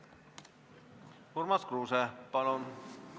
Urmas Kruuse, palun!